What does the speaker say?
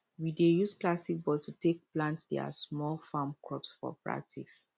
we dey use plastic bottle take plant their small farm crops for practice